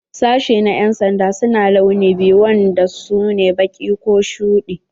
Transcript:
Sashi na yan'sanda su na launi biyu wanda su ne baƙi ko shuɗi.